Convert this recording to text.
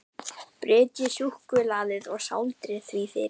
Brytjið suðusúkkulaðið og sáldrið því yfir.